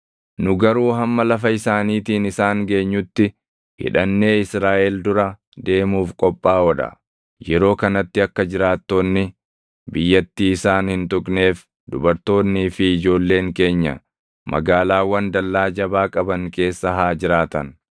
Nu garuu hamma lafa isaaniitiin isaan geenyutti hidhannee Israaʼel dura deemuuf qophaaʼoo dha. Yeroo kanatti akka jiraattoonni biyyattii isaan hin tuqneef dubartoonnii fi ijoolleen keenya magaalaawwan dallaa jabaa qaban keessa haa jiraatan.